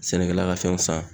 Sɛnɛkɛla ka fɛnw san